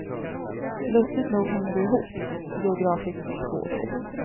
Lustigt nog hänger de ihop geografiskt två och två.